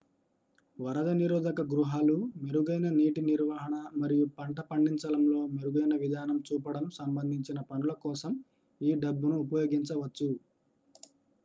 వరద నిరోధక గృహాలు మెరుగైన నీటి నిర్వహణ మరియు పంట పడించడంలో మెరుగైన విధానం చూపడం సంబంధించిన పనుల కోసం ఈ డబ్బును ఉపయోగించవచ్చు